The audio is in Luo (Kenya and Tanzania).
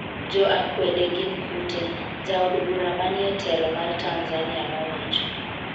jo akwede gin kute,'jaod bura manie telo mar Tanzania nowacho